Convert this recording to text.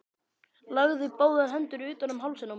Lagði báðar hendur utan um hálsinn á mér.